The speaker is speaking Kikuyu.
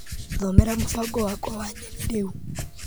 Thomera mũbango wakwa wa nyeni rĩu .